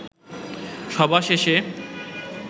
সভা শেষে